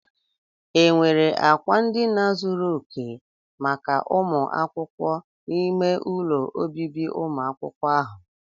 Enwere akwa ndina zuru oke maka ụmụ akwụkwọ n'ime ụlọ ọbịbị umụ akwukwo ahụ?